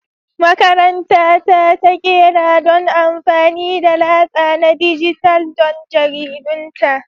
Makaranta ta ta ƙera don amfani da latsa na dijital don jaridunta